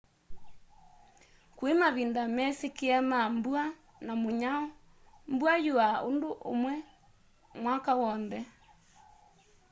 kui mavinda mesikie ma mbua na munyao mbua yuaa undu umwe mwaka wonthe